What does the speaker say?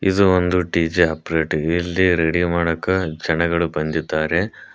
ಇದು ಒಂದು DJ operate ಇಲ್ಲಿ ರೆಡಿ ಮಾಡಕ್ಕ ಜನಗಳು ಬಂದಿದ್ದಾರೆ.